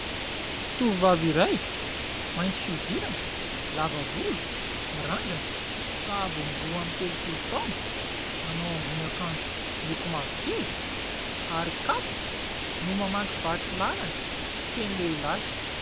Tovovavy iray, mainty fihodirana, lava volo, mirandrana. Sahabo eo amin'ny roa amby telopolo taona, manao ambonin'akanjo miloko mavokely ary kapa no mamakivaky lalana feno lehilahy.